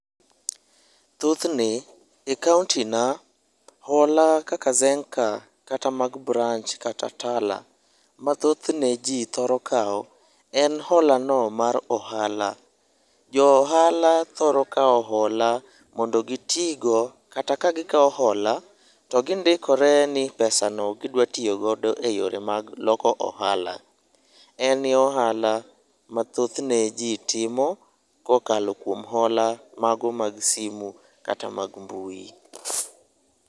Thothne,e kaontina ,hola kaka zenka kata mag branch kata tala, mathothne ji thoro kawo en holano mar ohala. Jo ohala thoro kawo hola mondo gitigo kata ka gikawo hola ,to gindikore ni pesano gidwa tiyo godo e yore mag loko ohala. En ye ohala ma thothne ji timo kokalo kuom hola mago mag simu kata mag mbui.